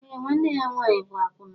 Eé, nwanne ya nwaanyị bụ àkwụnà